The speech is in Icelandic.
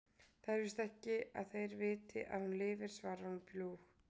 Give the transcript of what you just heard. Það er ekki víst að þeir viti að hún lifir, svarar hún bljúg.